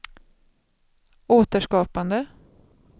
återskapande